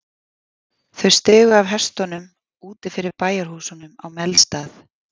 Þau stigu af hestunum úti fyrir bæjarhúsunum á Melstað.